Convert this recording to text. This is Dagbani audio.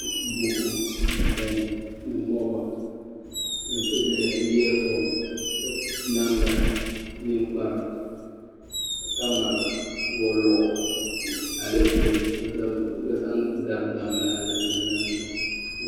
Buku ni pɛn ni lɔba ni yiya foon namda ninkpara kamara waluɣu alepilɛ bi vari zaŋ mali alepilɛ maa sɔŋ.